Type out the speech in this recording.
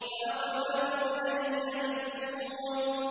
فَأَقْبَلُوا إِلَيْهِ يَزِفُّونَ